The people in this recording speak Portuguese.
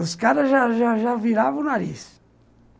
Os caras já já já já viravam o nariz.